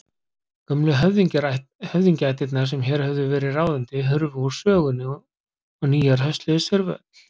Gömlu höfðingjaættirnar sem hér höfðu verið ráðandi hurfu úr sögunni og nýjar hösluðu sér völl.